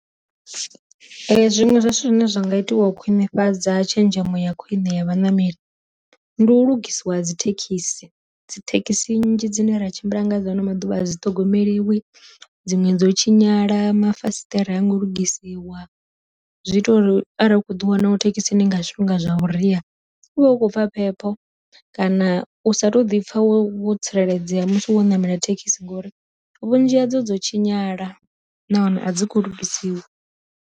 Zwiṅwe zwa zwithu zwine zwa nga itiwa u khwinifhadza tshenzhemo ya khwiṋe ya vhaṋameli, ndi u lugisiwa dzi thekhisi, dzi thekhisi nnzhi dzine ra tshimbila nga dza ano maduvha a dzi ṱhogomeliwi, dziṅwe dzo u tshinyala mafasiṱere a ngo lugisiwa, zwi ita uri arali u kho ḓi wana wo thekhisini nga zwifhinga zwa vhuria, u vhe u khou pfa phepho kana u sa to ḓi pfa wo tsireledzea musi wo ṋamela thekhisi ngori vhunzhi hadzo dzo tshinyala nahone a dzi khou lugisiwa.